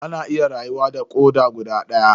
Ana iya rayuwa da koda guda daya.